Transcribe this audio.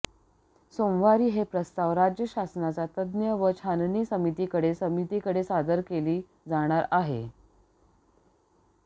सोमवारी हे प्रस्ताव राज्य शासनाच्या तज्ज्ञ व छाननी समितीकडे समितीकडे सादर केले जाणार आहेत